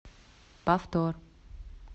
повтор